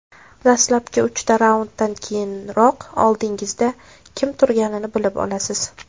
Dastlabki uchta raunddan keyinoq oldingizda kim turganini bilib olasiz.